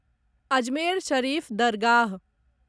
Ajmer Sharif Dargah